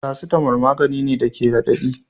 Paracetamol magani ne da ke radadi.